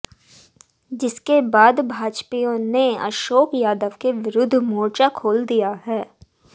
जिसके बाद भाजपाइयों ने अशोक यादव के विरूद्ध मोर्चा खोल दिया है